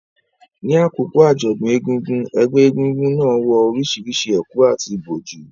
Ní àkókò àjọ̀dún egúngún, ẹgbẹ́ egúngún náà wọ orísìírísìí ẹ̀kú àti ìbòjú,